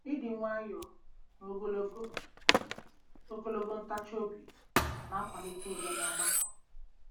Ịdị nwayọọ na Ogologo Ogologo ntachi obi na-akwalite udo n'ọgbakọ